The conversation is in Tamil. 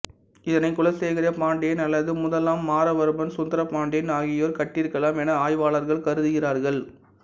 இதனை குலசேகரப் பாண்டியன் அல்லது முதலாம் மாறவர்மன் சுந்தரபாண்டியன் ஆகியோர் கட்டியிருக்கலாம் என ஆய்வாளர்கள் கருதுகிறார்கள்